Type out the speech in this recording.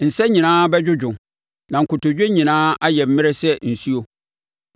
Nsa nyinaa bɛdwodwo na nkotodwe nyinaa ayɛ mmrɛ sɛ nsuo.